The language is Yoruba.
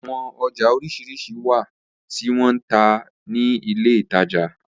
Awọn ọja oriṣiriṣi wa ti wọn n ta ni ile itaja